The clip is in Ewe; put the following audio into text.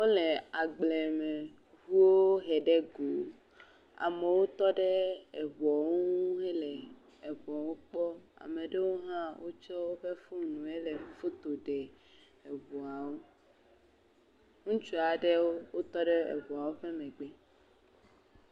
Wole agbleme ʋuwo he ɖe go, amowo tɔ ɖe eʋuɔwo ŋu hele eʋuɔwo kpɔ, ameɖewo hã wo tsɔ woƒe foni woe le foto ɖe eʋuwo, ŋutsua ɖewo o tɔ ɖe eʋuawo ƒe megbe.